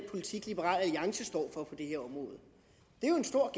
politik liberal alliance står for på det er jo en stor